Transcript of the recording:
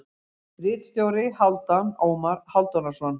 Ritstjóri: Hálfdan Ómar Hálfdanarson.